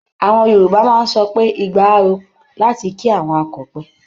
Àwọn Yorùbá máa ń sọ pé "igba á ro" láti ki àwọn akọ̀pẹ.